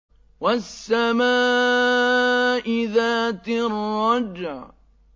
وَالسَّمَاءِ ذَاتِ الرَّجْعِ